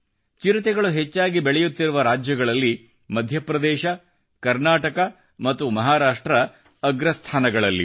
ಚಿರತೆಗಳು ಹೆಚ್ಚಾಗಿ ಬೆಳೆಯುತ್ತಿರುವ ರಾಜ್ಯಗಳಲ್ಲಿ ಮಧ್ಯಪ್ರದೇಶ ಕರ್ನಾಟಕ ಮತ್ತು ಮಹಾರಾಷ್ಟ್ರ ಅಗ್ರ ಸ್ಥಾನಗಳಲ್ಲಿವೆ